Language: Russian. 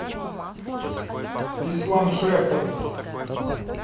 исламшехр